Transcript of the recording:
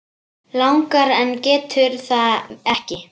Langar en getur það ekki.